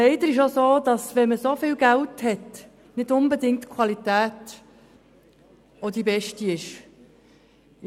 Leider ist es auch so, dass der Besitz von so viel Geld, nicht unbedingt eine Garantie für beste Qualität darstellt.